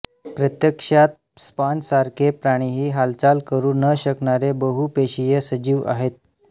प्रत्यक्षात स्पाँजसारखे प्राणीही हालचाल करू न शकणारे बहुपेशीय सजीव आहेत